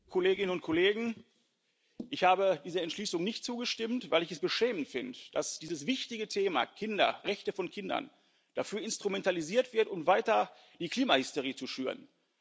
Herr Präsident, Kolleginnen und Kollegen! Ich habe der Entschließung nicht zugestimmt, weil ich es beschämend finde, dass dieses wichtige Thema Rechte von Kindern dafür instrumentalisiert wird, weiter die Klimahysterie zu schüren.